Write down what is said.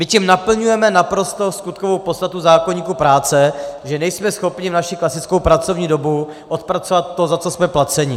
My tím naplňujeme naprosto skutkovou podstatu zákoníku práce, že nejsme schopni v naši klasickou pracovní dobu odpracovat to, za co jsme placeni.